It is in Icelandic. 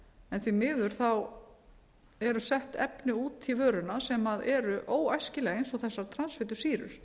en því miður eru sett efni út í vöruna sem eru óæskileg eins og þessar transfitusýrur